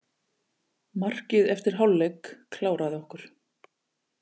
Markið eftir hálfleik kláraði okkur.